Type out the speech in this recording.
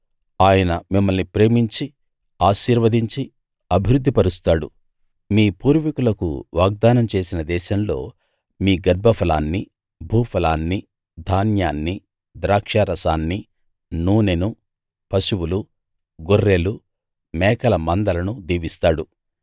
ఆయన మిమ్మల్ని ప్రేమించి ఆశీర్వదించి అభివృద్ధి పరుస్తాడు మీ పూర్వీకులకు వాగ్దానం చేసిన దేశంలో మీ గర్భఫలాన్ని భూఫలాన్ని ధాన్యాన్ని ద్రాక్షారసాన్ని నూనెను పశువులు గొర్రెలు మేకల మందలను దీవిస్తాడు